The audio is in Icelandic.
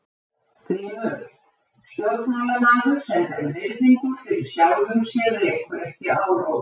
GRÍMUR: Stjórnmálamaður sem ber virðingu fyrir sjálfum sér rekur ekki áróður.